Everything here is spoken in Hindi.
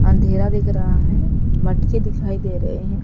अंधेरा दिख रहा है मटके दिखाई दे रहे हैं।